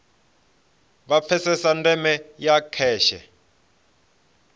vha pfesese ndeme ya kheshe